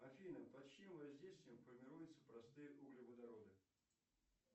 афина под чьим воздействием формируются простые углеводороды